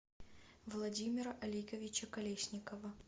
владимира олеговича колесникова